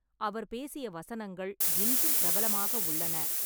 அவர் பேசிய வசனங்கள் இன்றும் பிரபலமாக உள்ளன.